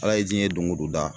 Ala ye diɲɛ doŋo do da